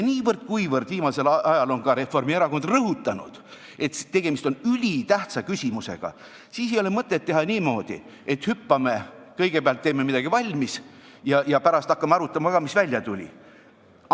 Kuivõrd viimasel ajal on ka Reformierakond rõhutanud, et tegemist on ülitähtsa küsimusega, ei ole mõtet teha niimoodi, et kõigepealt teeme midagi valmis ja pärast hakkame arutama, mis välja tuli.